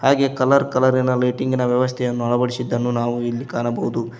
ಹಾಗೆ ಕಲರ್ ಕಲರಿನ ಲೈಟಿಂಗ್ ನ ವ್ಯವಸ್ಥೆಯನ್ನು ಅಳವಡಿಸಿದ್ದನ್ನು ನಾವು ಇಲ್ಲಿ ಕಾಣಬೋದು.